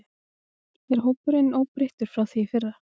Er hópurinn óbreyttur frá því í fyrra?